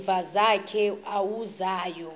nezimvu zakhe awusayi